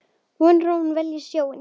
Vonar að hún velji sjóinn.